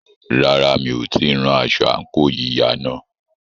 Rárá, mi ò tíì rán aṣọ àǹkóò yíya náà.